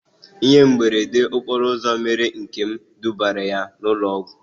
Ihe mberede okporo ụzọ mere Nkem dubara ya na ụlọ ọgwụ